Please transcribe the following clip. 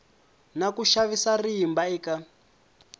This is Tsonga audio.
na ku xavisa rimba eka